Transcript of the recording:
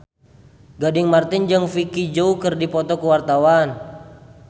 Gading Marten jeung Vicki Zao keur dipoto ku wartawan